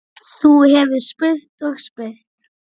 Þú hefðir spurt og spurt.